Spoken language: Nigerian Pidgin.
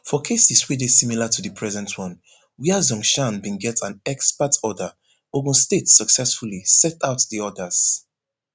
for cases wey dey similar to di present one wia zhongshan bin get an exparte order ogun state successfully set aside di orders